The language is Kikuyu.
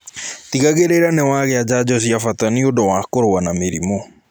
Tigagirirĩa niwagia njanjo cia bata nĩũndũ wa kurua na mĩrimũ